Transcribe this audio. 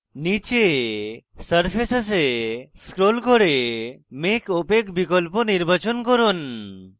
নীচে surfaces এ scroll করে make opaque বিকল্প নির্বাচন করুন